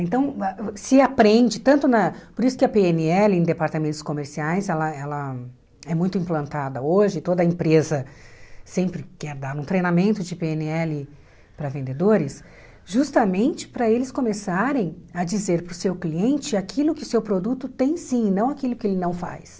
Então, se aprende, tanto na... Por isso que a pê ene ele, em departamentos comerciais, ela ela é muito implantada hoje, toda empresa sempre quer dar um treinamento de pê ene ele para vendedores, justamente para eles começarem a dizer para o seu cliente aquilo que o seu produto tem sim, não aquilo que ele não faz.